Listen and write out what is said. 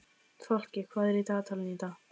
Fálki, hvað er í dagatalinu í dag?